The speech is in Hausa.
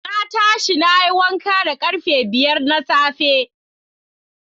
Na tashi nayi wanka da karfe biyar na safe.